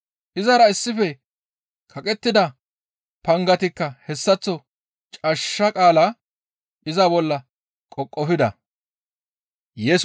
Izara issife kaqettida pangatikka hessaththo cashsha qaala iza bolla qoqofida.